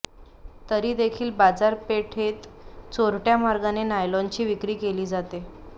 तरी देखील बाजारपेठते चोरट्या मार्गाने नायलॉनची विक्री केली जाते